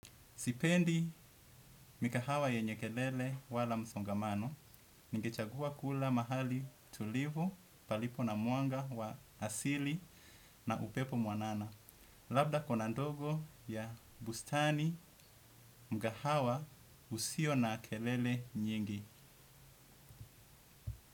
Sipendi mikahawa yenyekelele wala msongamano, nigechagua kula mahali tulivu palipo na mwanga wa asili na upepo mwanana. Labda kona ndogo ya bustani mkahawa usio na kelele nyingi.